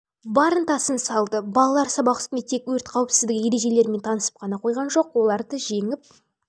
ынтасын салды балалар сабақ үстінде тек өрт қауіпсіздігі ережелерімен танысып қана қойған жоқ оларды жеңіп